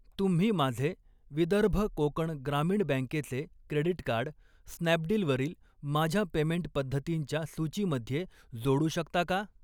तुम्ही माझे विदर्भ कोकण ग्रामीण बँकेचे क्रेडीट कार्ड, स्नॅपडील वरील माझ्या पेमेंट पद्धतींच्या सूचीमध्ये जोडू शकता का?